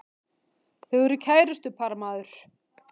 Þau eru kærustupar maður!